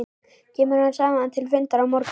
Kemur hann saman til fundar á morgun?